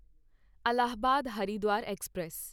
Allahabad Haridwar express